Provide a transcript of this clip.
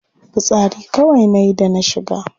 Fitsari kawai nayi da na shiga.